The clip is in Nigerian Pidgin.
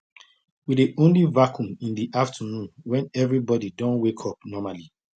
i dey only vacuum in the afternoon when everybody don wake up normally